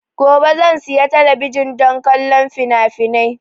Gobe zan siya talabijin don kallon finafinai